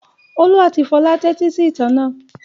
Olú àti Fọlá tẹ́tí sí ìtàn náà.